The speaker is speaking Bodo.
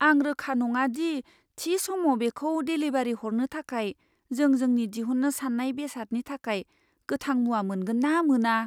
आं रोखा नङा दि थि समाव बेखौ डेलिभारि हरनो थाखाय जों जोंनि दिहुननो साननाय बेसादनि थाखाय गोथां मुवा मोनगोन ना मोना।